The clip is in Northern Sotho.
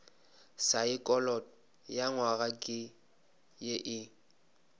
saekholot nywaga ke ye e